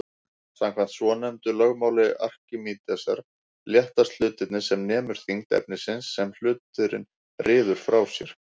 Samkvæmt svonefndu lögmáli Arkímedesar léttast hlutir sem nemur þyngd efnisins sem hluturinn ryður frá sér.